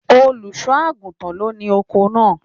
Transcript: Olùṣọ àgùntàn ló ní oko náà.